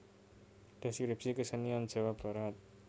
Deskripsi kesenian Jawa Barat